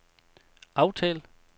aftal